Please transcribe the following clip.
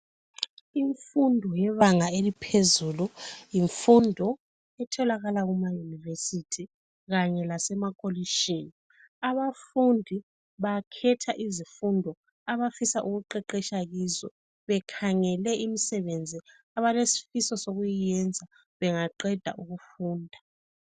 Imfundo yebanga eliphezulu yimfundo etholakala kumayunivesithi kanye lasemakolitshini. Abafundi bakhetha izfundo abafisa ukuqeqesha kizo bekhangele imisebenzi abalesifiso ukuyenza bangaqeda ukufunda.